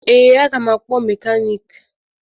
Ee, aga m akpọ mekaniiki